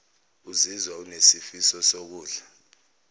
uzizwa unesifiso sokudla